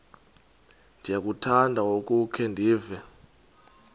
ndiyakuthanda ukukhe ndive